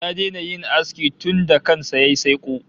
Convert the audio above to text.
Ya daina yin aski tunda kan sa yayi saiko